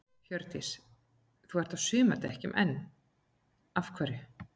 Hjördís: Þú ert á sumardekkjunum enn þá, af hverju?